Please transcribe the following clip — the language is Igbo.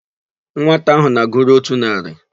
Nwata áhụ̀ na-agụru n'ótù narị.